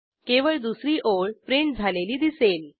केवळ दुसरी ओळ प्रिंट झालेली दिसेल